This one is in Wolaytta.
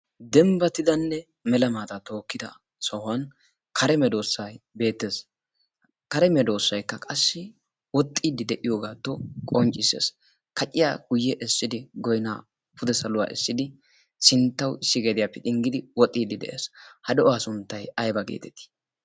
dembbatidanne mela maataa tookkida sohuwan beettees. kare meedoossaikka qassi woxxiiddi de'iyoogaato qonccissees. kacciya guyye essidi goynaa pude saluwaa essidi sinttawu issi geediyaappe xinggidi woxxiiddi de'ees ha do'uwaa sunttay ayba geetetii?